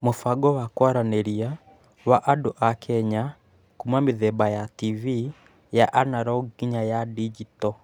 Mũbango wa kwaranĩria wa andũ a Kenya kuuma mĩthemba ya TV ya analogue nginya ya digito